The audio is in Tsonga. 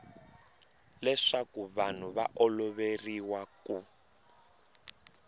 leswaku vanhu va oloveriwa ku